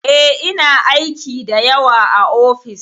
E, ina aiki da yawa a ofis.